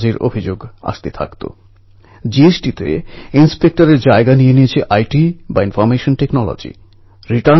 টিউনিশিয়ায় বিশ্ব para athletics grand prix ২০১৮তে একতা স্বর্ণপদক ও ব্রোঞ্জ পদক জিতেছে